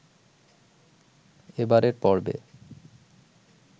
এবারের পর্বে